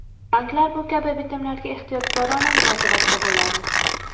Banklar bu kabi bitimlarga ehtiyotkorona munosabatda bo‘ladi.